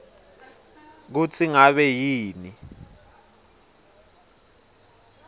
kutsi ngabe yini